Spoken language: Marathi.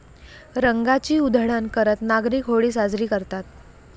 रंगाची उधळण करत नागरिक होळी साजरी करतात.